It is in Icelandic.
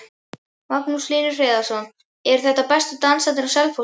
Magnús Hlynur Hreiðarsson: Eru þetta bestu dansararnir á Selfossi?